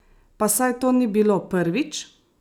Pa saj to ni bilo prvič!